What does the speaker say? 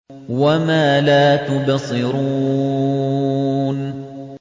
وَمَا لَا تُبْصِرُونَ